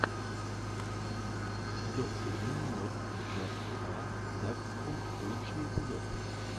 докси дин нот джаст аа даксхунд лучший эпизод